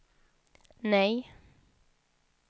nej